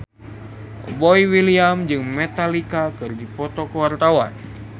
Boy William jeung Metallica keur dipoto ku wartawan